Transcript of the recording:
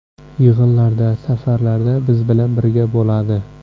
Yig‘inlarda, safarlarda biz bilan birga bo‘ladi.